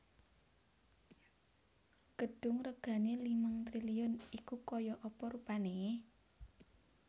Gedung regane limang triliun iku koyok apa rupane?